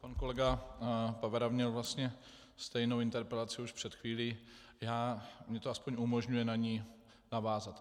Pan kolega Pavera měl vlastně stejnou interpelaci už před chvílí, mně to aspoň umožňuje na ni navázat.